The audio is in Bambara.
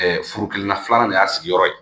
furu kelen na filanan de y'a sigiyɔrɔ ye